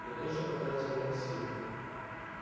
я тоже потратил много сил